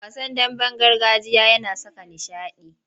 Wasan damben gargajiya yana saka nishaɗi.